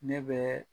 Ne bɛ